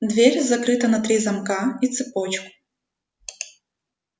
дверь закрыта на три замка и цепочку